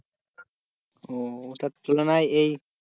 ও ওটার তুলনায় এই